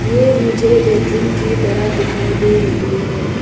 ये मुझे बेडरूम की तरह दिखाई दे रही है।